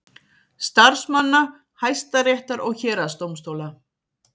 Starfsmanna Hæstaréttar og héraðsdómstóla.